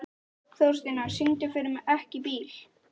Þórsteina, syngdu fyrir mig „Ekki bíl“.